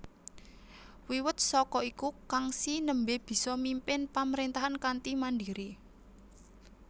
Wiwit saka iku Kangxi nembe bisa mimpin pamrentahan kanthi mandiri